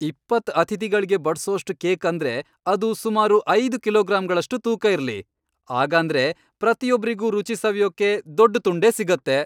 ಇಪ್ಪತ್ತ್ ಅತಿಥಿಗಳ್ಗೆ ಬಡ್ಸೋಷ್ಟು ಕೇಕ್ ಅಂದ್ರೆ ಅದು ಸುಮಾರು ಐದ್ ಕಿಲೋಗ್ರಾಂಗಳಷ್ಟು ತೂಕ ಇರ್ಲಿ. ಆಗಾಂದ್ರೆ ಪ್ರತಿಯೊಬ್ರಿಗೂ ರುಚಿ ಸವಿಯೋಕೆ ದೊಡ್ಡ್ ತುಂಡೇ ಸಿಗತ್ತೆ.